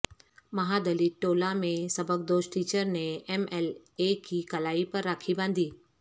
مہادلت ٹولہ میں سبکدوش ٹیچرنے ایم ایل اے کی کلائی پر راکھی باندھی